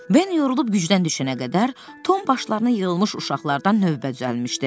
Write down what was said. Ben yorulub gücdən düşənə qədər Tom başlarına yığılmış uşaqlardan növbə düzəlmişdi.